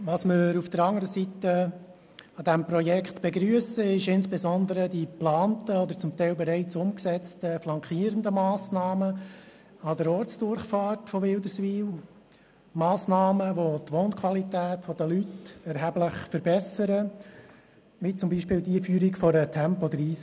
Demgegenüber begrüssen wir an diesem Projekt insbesondere die geplanten flankierenden Massnahmen an der Ortsdurchfahrt von Wilderswil, wie beispielsweise die Einführung einer Tempo-30Zone und die Verbesserung der Fussgängersicherheit.